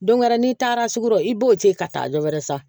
Don wɛrɛ n'i taara sugu i b'o ten ka taa dɔ wɛrɛ san